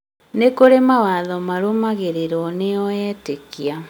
nĩ kũrĩ mawatho marũmagĩrĩrwo nĩ o etĩkia